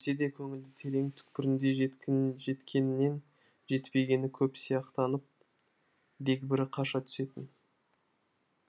сөйтсе де көңілдің терең түкпірінде жеткенінен жетпегені көп сияқтанып дегбірі қаша түсетін